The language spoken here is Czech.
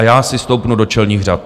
A já si stoupnu do čelných řad.